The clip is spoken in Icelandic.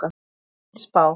Það er mín spá.